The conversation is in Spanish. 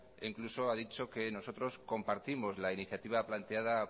e incluso ha dicho que nosotros compartimos la iniciativa planteada